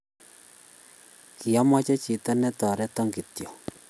kiameche chito ni toriton kityo